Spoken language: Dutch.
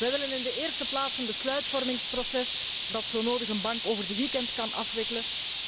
Wij willen in de eerste plaats een besluitvormingsproces dat zo nodig een bank over the weekend kan afwikkelen.